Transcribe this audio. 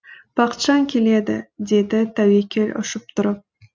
бақытжан келеді деді тәуекел ұшып тұрып